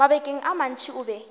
mabakeng a mantši o be